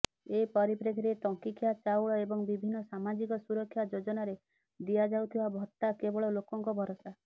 ଏ ପରିପ୍ରେକ୍ଷୀରେ ଟଙ୍କିକିଆ ଚାଉଳ ଏବଂ ବିଭିନ୍ନ ସାମାଜିକ ସୁରକ୍ଷା ଯୋଜନାରେ ଦିଆଯାଉଥିବା ଭତ୍ତା କେବଳ ଲୋକଙ୍କ ଭରସା